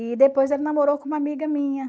E depois ele namorou com uma amiga minha.